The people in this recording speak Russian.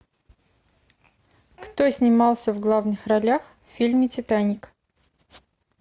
кто снимался в главных ролях в фильме титаник